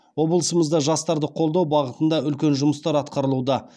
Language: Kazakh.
облысымызда жастарды қолдау бағытында үлкен жұмыстар атқарылуда